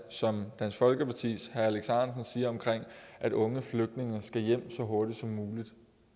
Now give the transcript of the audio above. som dansk folkepartis herre alex ahrendtsen siger om at unge flygtninge skal hjem så hurtigt som muligt